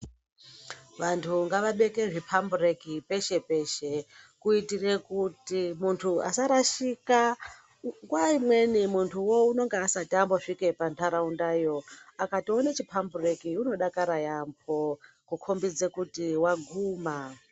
Vantu ngavabeke zvipambureki peshe peshe kuitira kuti muntu Asarashika nguwa imweni muntu anenge asasvuka pandaraunda iyo akaona chipambureki anodakara yambo kukombidza kuti waguma.